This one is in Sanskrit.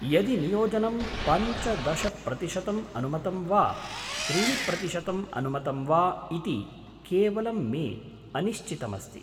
यदि नियोजनं पञ्चदश प्रतिशतम् अनुमतं वा त्रीणि प्रतिशतम् अनुमतं वा इति केवलं मे अनिश्चितमस्ति।